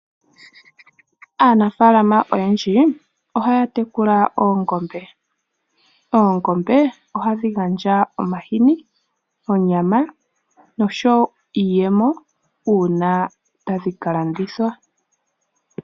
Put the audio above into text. Aanafalama oyendji ohaya tekula oongombe. Ongombe ohadhi gandja omahini, onyama nosho wo iiyemo una tadhi ka landithwa.